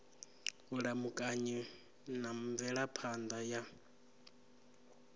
vhulamukanyi na mvelaphan ḓa ya